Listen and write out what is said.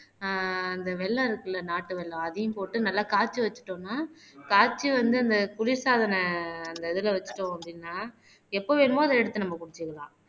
ஆஹ் அந்த வெல்லம் இருக்குல்ல நாட்டு வெல்லம் அதையும் போட்டு நல்லா காய்ச்சி வச்சுட்டோம்ன்னா காய்ச்சி வந்து அந்த குளிர்சாதன அந்த இதுல வச்சுட்டோம் அப்படின்னா எப்ப வேணுமோ அத எடுத்து நம்ம குடிச்சுக்கலாம்.